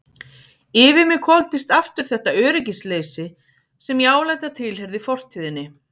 Yfir mig hvolfdist aftur þetta öryggisleysi sem ég áleit að tilheyrði fortíðinni.